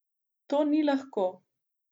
To ni lahko.